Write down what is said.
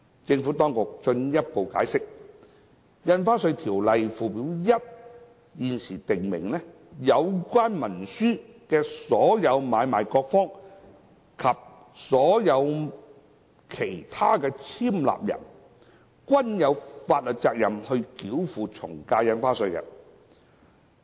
政府當局進一步解釋，《條例》附表1現時訂明，有關文書的所有買賣各方及所有其他簽立人，均有法律責任繳付從價印花稅。